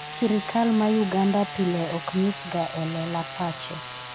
sirikal ma Uganda pile ok nyisga e lela pache